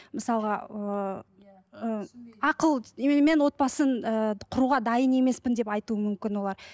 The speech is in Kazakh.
мысалға ыыы ақыл мен отбасын ыыы құруға дайын емеспін деп айтуы мүмкін олар